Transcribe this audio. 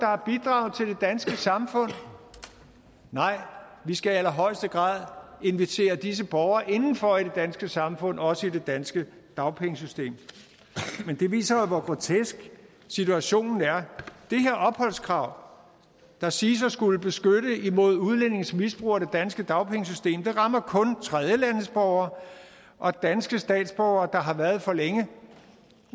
har bidraget til det danske samfund nej vi skal i allerhøjeste grad invitere disse borgere indenfor i det danske samfund også i det danske dagpengesystem men det viser jo hvor grotesk situationen er det her opholdskrav der siges at skulle beskytte imod udlændinges misbrug af det danske dagpengesystem rammer kun tredjelandsborgere og danske statsborgere der har været for længe